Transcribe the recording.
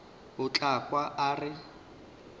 o tla kwa a re